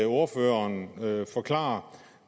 ordføreren forklare